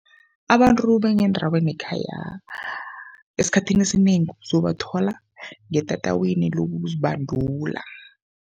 Abantu bangendaweni yekhaya esikhathini esinengi uzobathola ngetatawini lokuzibandula.